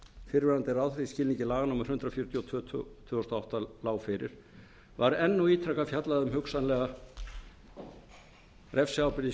fyrrverandi ráðherra í skilningi laga númer hundrað fjörutíu og tvö tvö þúsund og átta lágu fyrir var enn og ítrekað fjallað um hugsanlega refsiábyrgð í